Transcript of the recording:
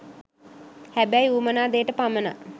හැබැයි උවමනා දේට පමනක්